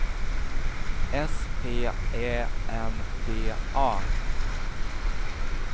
S P Ä N D A